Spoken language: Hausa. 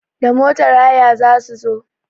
Da motar haya za su zo.